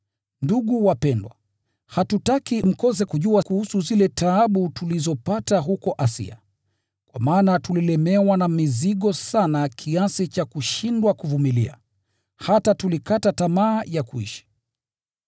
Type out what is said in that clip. Ndugu wapendwa, hatutaki mkose kujua kuhusu zile taabu tulizopata huko Asia. Kwa maana tulilemewa na mizigo sana, kiasi cha kushindwa kuvumilia, hata tulikata tamaa ya kuishi.